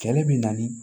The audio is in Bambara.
Kɛlɛ bɛ na ni